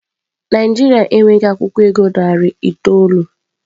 Naijiria e nweghi akwukwo ego naira narị itoolu.